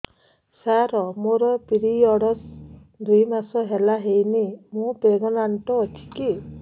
ସାର ମୋର ପିରୀଅଡ଼ସ ଦୁଇ ମାସ ହେଲା ହେଇନି ମୁ ପ୍ରେଗନାଂଟ ଅଛି କି